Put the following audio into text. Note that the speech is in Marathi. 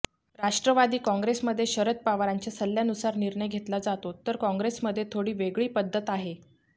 राष्ट्रवादी काँग्रेसमध्ये शरद पवारांच्या सल्ल्यानुसार निर्णय घेतला जातो तर काँग्रेसमध्ये थोडी वेगळी पद्धत आहे